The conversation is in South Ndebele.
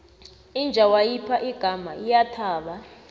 inja wayipha igama iyathaba